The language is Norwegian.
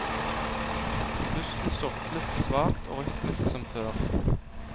Pusten surklet svakt og rytmisk som før.